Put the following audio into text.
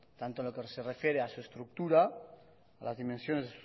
tanto en lo que se refiere a su estructura a las dimensiones